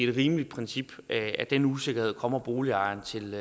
et rimeligt princip at den usikkerhed kommer boligejerne til